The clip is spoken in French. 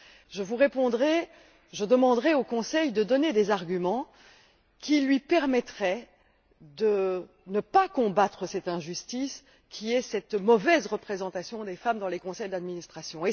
Je vous répondrai que je demanderais au Conseil de donner des arguments qui lui permettraient de ne pas combattre cette injustice qu'est cette mauvaise représentation des femmes dans les conseils d'administration.